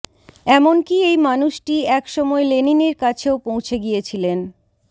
এমন কী এই মানুষটি এক সময় লেনিনের কাছেও পৌঁছে গিয়েছিলেন